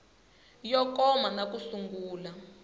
yo koma na ku sungula